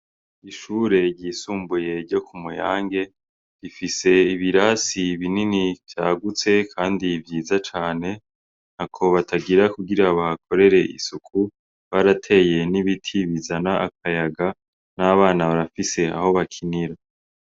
Ishure ryisumbuye ryo ku Muyange, rifise ibirasi binini vyagutse kandi vyiza cane. Ntako batagira kugira bahakorere isuku, barateye n'ibiti bizana akayaga, n'abana barafise aho bakinira.